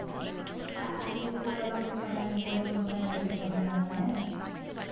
salary கூட எல்லாம் குடுக்க மாட்டாங்க கூடயும் குடுக்க மாட்டாங்க மஞ்சப்பையும் குடுக்க மாட்டாங்க